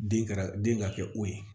Den kɛra den ka kɛ o ye